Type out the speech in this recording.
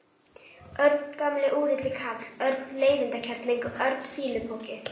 Örn gamli úrilli karl, Örn leiðindakerling, Örn fýlupoki.